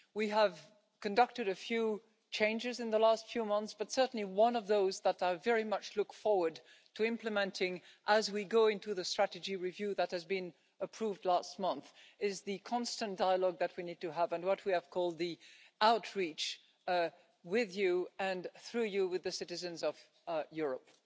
We have conducted a few changes in the last few months, but certainly one of those that I very much look forward to implementing as we go into the strategy review that has been approved last month, is the constant dialogue that we need to have, and what we have called the outreach with you and, through you, with the citizens of Europe.